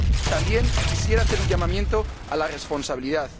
También quisiera hacer un llamamiento a la responsabilidad.